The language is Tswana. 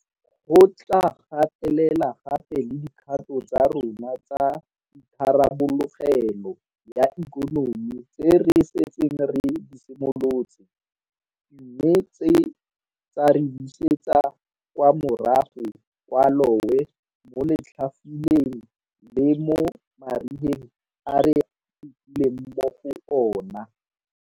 Go tla gatelela gape le dikgato tsa rona tsa itharabologelo ya ikonomi tse re setseng re di simolotse, mme tsa re busetsa kwa morago kwa lowe mo letlhafuleng le mo marigeng a re fitileng mo go ona.